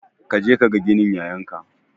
Kaje kaga ginin yayan ka